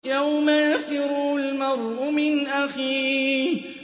يَوْمَ يَفِرُّ الْمَرْءُ مِنْ أَخِيهِ